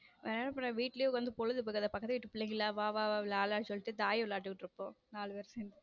வேற என்ன பண்ண வீட்டிலேயே பொழுது போகாது பக்கத்து வீட்டு பிள்ளைங்களை வா வா விளையாடலாம்னு சொல்லிட்டு தாயம் விளையாடிட்டு இருக்கோம் நாலு பேரு சேர்ந்து.